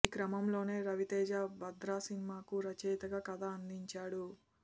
ఈ క్రమంలోనే రవితేజ భద్ర సినిమాకు రచయితగా కథ అందించాడు